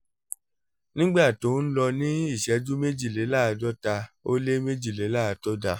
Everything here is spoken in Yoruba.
nígbà tó ń lọ ní ìṣẹ́jú méjìléláàádọ́ta ó lé méjìléláàádọ́ta